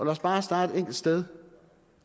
os bare starte et enkelt sted